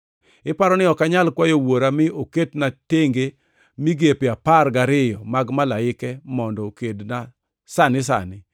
Iparo ni ok anyal kwayo Wuora mi oketna tenge migepe apar gariyo mag malaike mondo okedna sani sani?